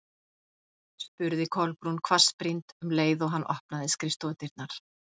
spurði Kolbrún hvassbrýnd um leið og hann opnaði skrifstofudyrnar.